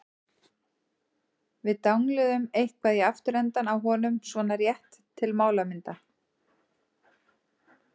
Við dangluðum eitthvað í afturendann á honum- svona rétt til málamynda.